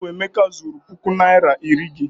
Ọ bụ Emeka zuuru puku naịra na iri gị.